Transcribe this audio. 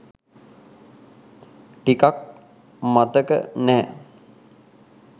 ටිකක් මතක නෑ